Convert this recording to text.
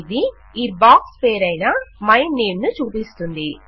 ఇది ఈ బాక్స్ పేరయిన మైనేమ్ ను చూపిస్తోంది